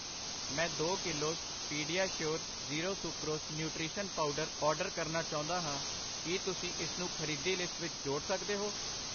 ਮੈਂ ਦੋ kilos PediaSure zero sucrose nutrition powder order ਕਰਨਾ ਚਾਉਂਦਾ ਹਾਂ, ਕਿ ਤੁਸੀਂ ਇਸਨੂੰ ਖਰੀਦੀ ਲਿਸਟ ਵਿੱਚ ਜੋੜ ਸਕਦੇ ਹੋ ?